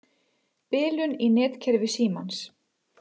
Bilun í netkerfi Símans